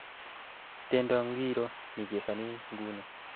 tendo ingiro nechezani nguni